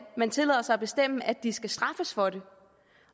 at man tillader sig at bestemme at de skal straffes for det